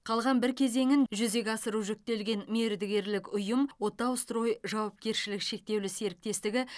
қалған бір кезеңін жүзеге асыру жүктелген мердігерлік ұйым отау строй жауапкершілігі шектеулі серіктестігі